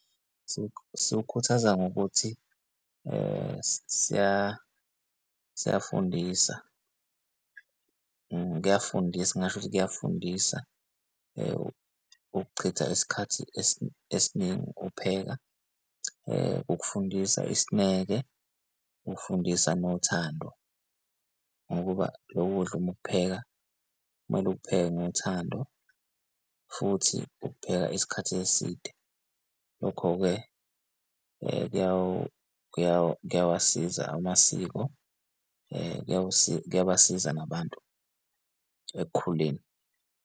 Sokhuthaza ngokuthi siyafundisa, kuyafundisa, ngingasho ukuthi kuyafundisa ukuchitha isikhathi esiningi ukupheka ukufundisa isineke, ukufundisa nothando. Ngokuba lo kudla uma ukupheka, kumele ukupheke ngothando futhi ukupheka isikhathi eside. Lokho-ke kuyawasiza amasiko, kuyabasiza nabantu ekukhuleni.